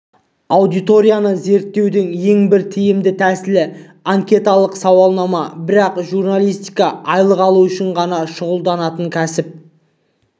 аудиторияны зерттеудің ең бір тиімді тәсілі анкеталық сауалнама бірақ журналистика айлық алу үшін ғана шұғылданатын кәсіп